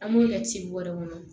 An b'o kɛ ci bɔrɛ kɔnɔ